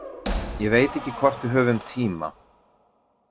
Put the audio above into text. Ég veit ekki hvort við höfum tíma.